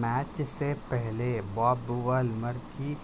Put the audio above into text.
match سے پہلے Bob Woolmer کی